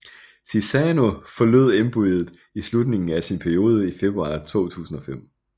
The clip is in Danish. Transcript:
Chissano forlod embedet i slutningen af sin periode i februar 2005